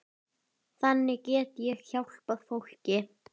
Þannig get ég hjálpað fólki.